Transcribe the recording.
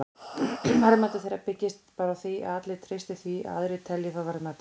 Verðmæti þeirra byggist bara á því að allir treysti því að aðrir telji þá verðmæta.